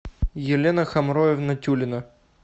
елена хамроевна тюлина